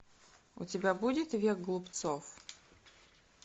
у тебя будет век глупцов